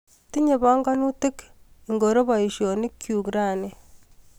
Tinye panganutik ingoro baishonikchu rani?